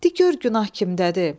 Di gör günah kimdədir?